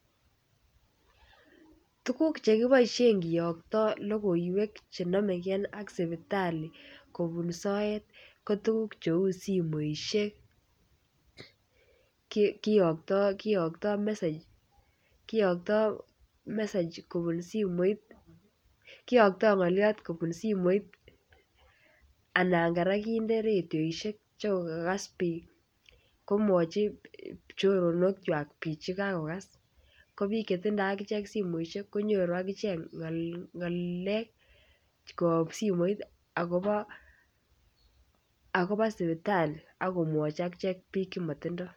Tukuk chekiboishen kiyokto lokoiwek chenomegee ak sipitali kobun soet ko tukuk cheu somoishek kiyokto kiyokto message kiyokto message kobun simoit kiyokto ngoliot kobun simoit anan koraa kinde radioishek sikokas bik kimwochi choronok kwak bik chekakokas, kobik chetindo akichek somoishek konyoru akichek ngol ngalek koyob somoit akobo akobo sipitali akimwochi akichek bik chemotindo.